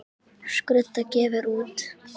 Skrudda gefur út.